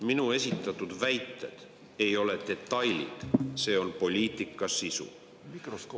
Minu esitatud väited ei ole detailid, vaid poliitika sisu.